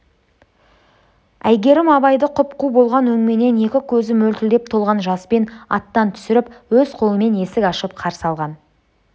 әйгерім абайды құп-қу болған өңменен екі көзі мөлтілдеп толған жаспен аттан түсіріп өз қолымен есік ашып қарсы алған